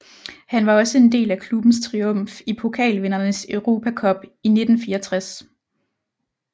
Han var også en del af klubbens triumf i Pokalvindernes Europa Cup i 1964